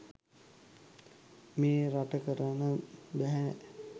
මේ රට කරන්න බැහැ.